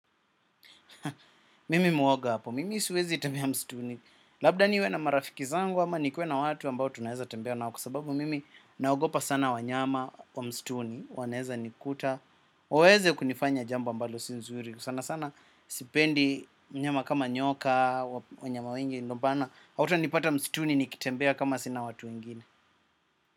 Mimi mwoga hapo, mimi siwezi tembea msituni. Labda niwe na marafiki zangu ama nikuwe na watu ambao tunaeza tembea nao. Kwa sababu mimi naogopa sana wanyama wa msituni wanaeza nikuta, waweze kunifanya jambo ambalo si nzuri sana sana sipendi mnyama kama nyoka, wanyama wengi ndo maana hautanipata msituni nikitembea kama sina watu wengine.